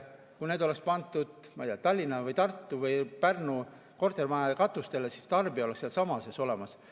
Kui need oleks pandud, ma ei tea, Tallinna või Tartu või Pärnu kortermajade katustele, siis tarbija oleks sealsamas olemas.